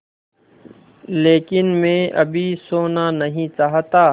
लेकिन मैं अभी सोना नहीं चाहता